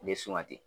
U bɛ suma ten